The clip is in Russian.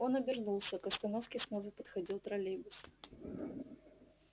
он обернулся к остановке снова подходил троллейбус